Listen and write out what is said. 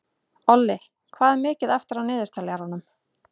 Olli, hvað er mikið eftir af niðurteljaranum?